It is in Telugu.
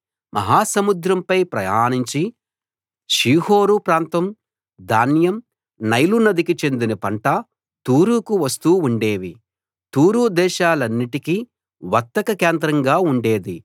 మహా సముద్రంపై ప్రయాణించి షీహోరు ప్రాంతం ధాన్యం నైలు నదికి చెందిన పంట తూరుకు వస్తూ ఉండేవి తూరు దేశాలన్నిటికీ వర్తక కేంద్రంగా ఉండేది